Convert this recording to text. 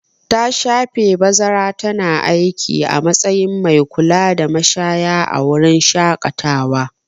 Ta shafe bazara tana aiki a matsayin mai kulada mashaya a wurin shaƙatawa.